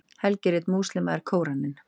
helgirit múslíma er kóraninn